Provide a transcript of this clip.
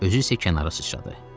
Özü isə kənara sıçradı.